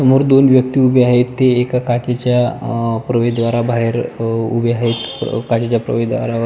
समोर दोन व्यक्ती उभे आहेत ते एका काचेच्या प्रवेशद्वार बाहेर उभे आहेत काचेच्या प्रवेशद्वारवर--